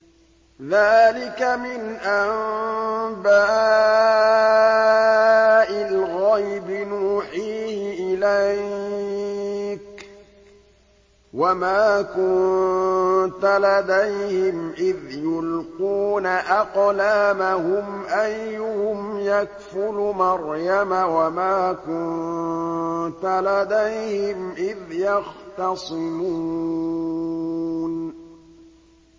ذَٰلِكَ مِنْ أَنبَاءِ الْغَيْبِ نُوحِيهِ إِلَيْكَ ۚ وَمَا كُنتَ لَدَيْهِمْ إِذْ يُلْقُونَ أَقْلَامَهُمْ أَيُّهُمْ يَكْفُلُ مَرْيَمَ وَمَا كُنتَ لَدَيْهِمْ إِذْ يَخْتَصِمُونَ